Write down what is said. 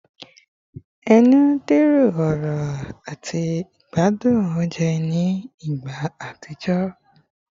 Ẹnu dẹrọ ọrọ ati igbadun ounjẹ ni igba atijọ